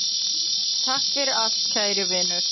Takk fyrir allt kæri vinur.